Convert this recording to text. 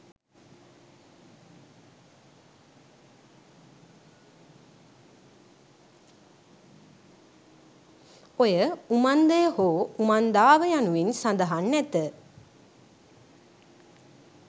ඔය උමන්දය හෝ උමන්දාව යනුවෙන් සඳහන් නැත